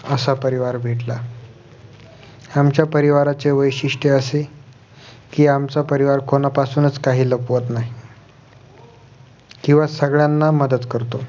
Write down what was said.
असा परिवार भेटला आमच्या परिवाराचे वैशिष्ट्य असे कि आमचा परिवार कोणापासूनच काही लपवत नाही किंवा सगळ्यांना मदत करतो